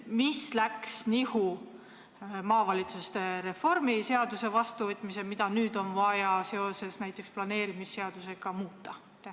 Mis läks nihu maavalitsuste reformi käsitleva seaduse vastuvõtmisel, et nüüd on vaja seda näiteks planeerimisseadusega muuta?